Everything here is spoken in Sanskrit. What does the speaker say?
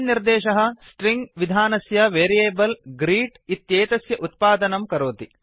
अयं निर्देशः स्ट्रिंग स्ट्रिङ्ग् विधानस्य वेरियेबल् ग्रीट् ग्रीट् इत्येतस्य उत्पादनं करोति